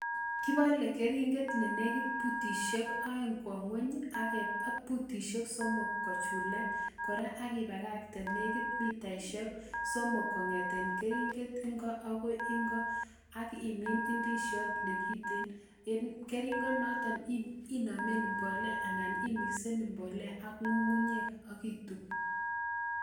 Kibole keringet nenekit butisiek oeng kwon ngwony I,ak yeityoo ibal butisiek somok kochulak ak ibakaktee, nekit mitaisiek somok kongeten keringet ingoo akoi ingo, akimin indisiot nekiten en keringet notok inameen mbolea anan imixen mbolea ak ngungunyek ak ituub